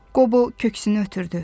Qobo köksünü ötürdü.